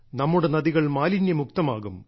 നമ്മുടെ നദികൾ മാലിന്യമുക്തമാകും